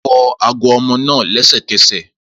Fọ ago ọmọ naa lẹsẹkẹsẹ!